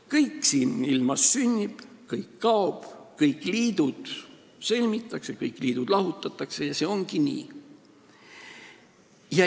Kõik siin ilmas sünnib, kõik kaob, kõik liidud sõlmitakse, kõik liidud lahutatakse ja see ongi nii.